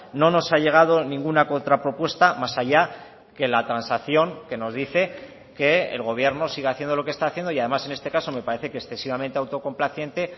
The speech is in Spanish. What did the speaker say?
no nos ha llegado ninguna contra propuesta más allá que la transacción que nos dice que el gobierno siga haciendo lo que está haciendo y además en este caso me parece que excesivamente autocomplaciente